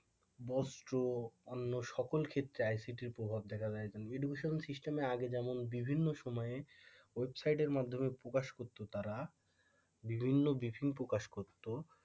বস্ত্র অন্য সকল ক্ষেত্রে ICT প্রভাব দেখা যায় educational system এ আগে যেমন বিভিন্ন সময়ে ওয়েবসাইটের মাধ্যমে প্রকাশ করত তারা বিভিন্ন বিহীন প্রকাশ করতো,